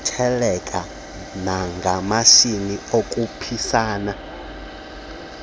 ngokuthelekisa namashishi okhuphisana